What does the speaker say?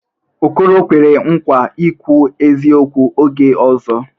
Okoro kwere nkwa ikwu eziokwu oge ọzọ?